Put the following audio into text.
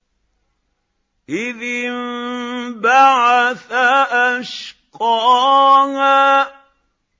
إِذِ انبَعَثَ أَشْقَاهَا